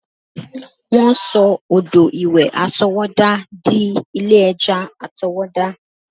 Wọ́n sọ odò ìwẹ̀ àtọwọ́dá dí ilé ẹja àtọwọ́dá